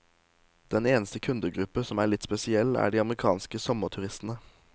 Den eneste kundegruppe som er litt spesiell, er de amerikanske sommerturistene.